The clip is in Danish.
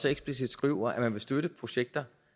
eksplicit skriver at man vil støtte projekter